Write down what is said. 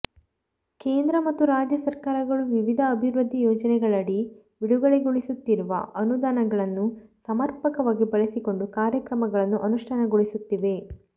ಕೇಂದ್ರ ಮತ್ತು ರಾಜ್ಯ ಸರಕಾರಗಳು ವಿವಿಧ ಅಭಿವೃದ್ಧಿ ಯೋಜನೆಗಳಡಿ ಬಿಡುಗಡೆಗೊಳಿಸುತ್ತಿರುವ ಅನು ದಾನಗಳನ್ನು ಸಮರ್ಪಕವಾಗಿ ಬಳಸಿಕೊಂಡು ಕಾರ್ಯ ಕ್ರಮಗಳನ್ನು ಅನುಷ್ಠಾನಗೊಳಿಸುತ್ತಿವೆ